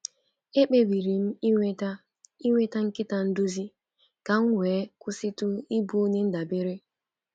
Ekpebiri m inweta inweta nkịta nduzi ka m wee kwụsịtu ịbụ onye ndabere.